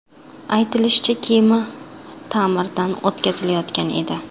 Aytilishicha, kema ta’mirdan o‘tkazilayotgan edi.